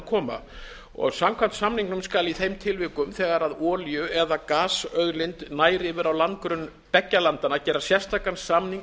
málinu koma samkvæmt samningnum skal í þeim tilvikum þegar olíu eða gasauðlind nær yfir á landgrunn beggja landanna gera sérstakan samning